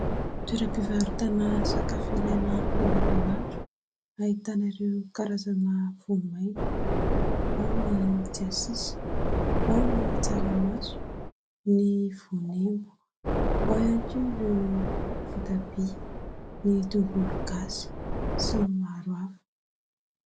Toeram-pivarotana sakafo ilaina an-davanandro ahitana ireo karazana voamaina ao ny tsiasisa, ao ny tsaramaso, ny voanemba, ao ihany koa ireo voatabia, ny tongologasy sy ny maro hafa.